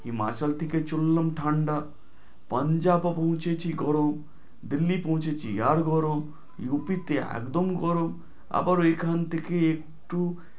হিমাচল থেকে চললাম ঠাণ্ডা, পাঞ্জাবও পৌঁছেছি গরম দিল্লী পৌঁছেছি আরও গরম, ইউপিতে একদম গরম, আবার এখান থেকে একটু